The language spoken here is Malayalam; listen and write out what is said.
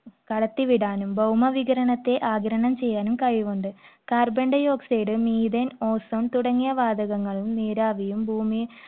കടത്തിവിടാനും ഭൗമവികരണത്തെ ആഗിരണം ചെയ്യാനും കഴിവുണ്ട്. carbon dioxide, methane, ozone തുടങ്ങിയ വാതകങ്ങളും നീരാവിയും ~